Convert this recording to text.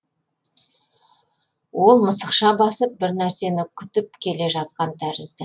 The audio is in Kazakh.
ол мысықша басып бір нәрсені күтіп келе жатқан тәрізді